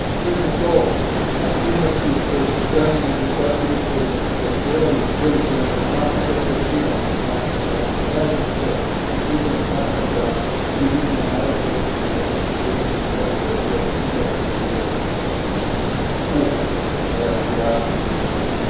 Sve su to aktivnosti koje su krajnje neprihvatljive i koje zahtijevaju veliki angažman i to koordinirani angažman međunarodne zajednice i pritom smatram da i Ujedinjeni narodi, osobito Vijeće sigurnosti, moraju reagirati i autorizirati aktivnosti u Irku i Siriji.